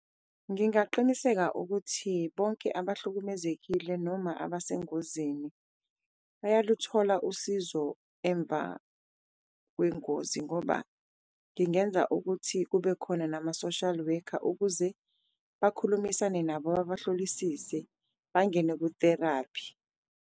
Ngingaqiniseka ukuthi bonke abahlukumezekile noma abasengozini bayaluthola usizo emva kwengozi ngoba ngingenza ukuthi kube khona nama-social worker ukuze bakhulumisane nabo babahlolisise, bangene ku-therapy.